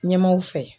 Ɲɛmaaw fɛ